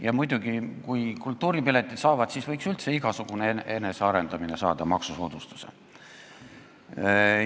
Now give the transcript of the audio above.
Ja muidugi, kui kultuuriürituste piletid selle saavad, siis võiks üldse igasugune enesearendamine saada maksusoodustuse.